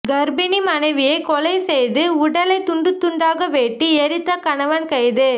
கர்ப்பிணி மனைவியை கொலை செய்து உடலை துண்டுத் துண்டாக வெட்டி எரித்த கணவன் கைது